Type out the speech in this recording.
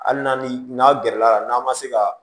Hali n'a ni n'aw gɛrɛla n'aw ma se kaa